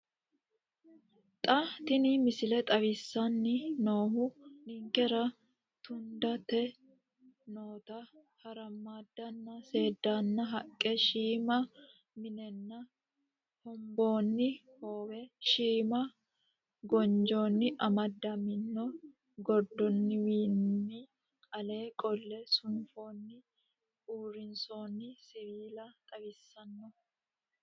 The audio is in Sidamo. Xa tini missile xawissanni noohu ninkera tuudante noota harammaaddanna seeddaanna haqqe, shiima minenna hoomboonni hoowe, shiima guunjonni amadamino gordonnasiwiilunni ale qolle sunfanni uurrinsoonni siwilla xawissanno.